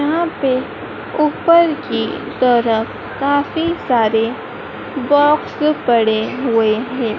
यहां पे ऊपर की तरफ काफी सारे बॉक्स पड़े हुए हैं।